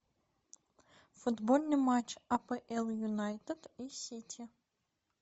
футбольный матч апл юнайтед и сити